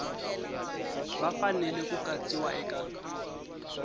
va fanele ku katsiwa eka